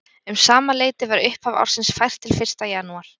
Um sama leyti var upphaf ársins fært til fyrsta janúar.